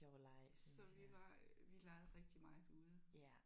Så vi var øh vi legede rigtigt meget ude